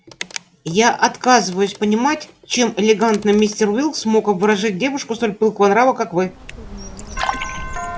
я отказываюсь понимать чем элегантный мистер уилкс мог обворожить девушку столь пылкого нрава как вы